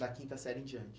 Da quinta série em diante?